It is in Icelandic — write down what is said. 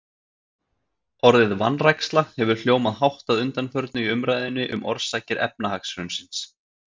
Orðið vanræksla hefur hljómað hátt að undanförnu í umræðunni um orsakir efnahagshrunsins.